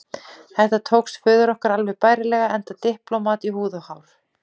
Þetta tókst föður okkar alveg bærilega, enda diplómat í húð og hár.